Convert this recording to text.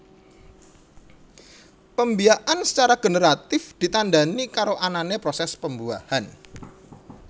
Pembiakan secara generatif ditandani karo anane proses pembuahan